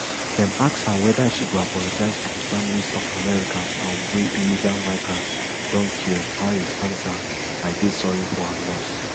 dem ask her weda she go apologise to di families of americans um wey illegal migrants don kill harris answer i dey sorry for her loss